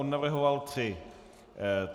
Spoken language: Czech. On navrhoval tři.